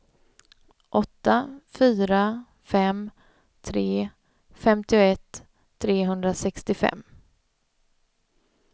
åtta fyra fem tre femtioett trehundrasextiofem